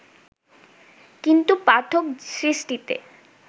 কিন্তু পাঠক সৃষ্টিতে